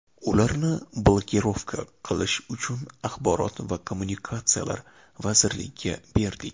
Ularni blokirovka qilish uchun axborot va kommunikatsiyalar vazirligiga berdik.